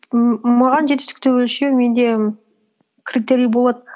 м маған жетістікті өлшеу менде критерий болады